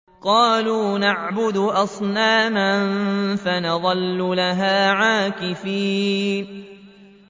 قَالُوا نَعْبُدُ أَصْنَامًا فَنَظَلُّ لَهَا عَاكِفِينَ